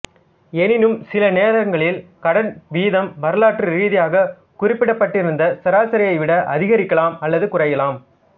எனினும் சில நேரங்களில் கடன் வீதம் வரலாற்று ரீதியாக குறிப்பிடப்பட்டிருந்த சராசரியை விட அதிகமாகலாம் அல்லது குறையலாம்